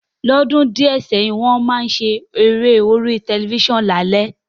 Lódún dìẹ̀ sẹ́hìn, won má n se eré lórí tẹlifísàn lálé